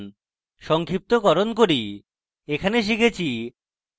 সংক্ষিপ্তকরণ করি in tutorial আমরা শিখেছি